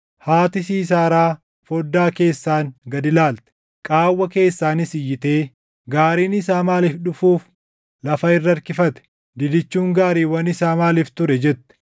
“Haati Siisaaraa foddaa keessaan gad ilaalte; qaawwa keessaanis iyyitee, ‘Gaariin isaa maaliif dhufuuf lafa irra harkifate? Didichuun gaariiwwan isaa maaliif ture?’ jette.